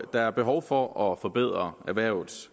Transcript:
der er behov for at forbedre erhvervets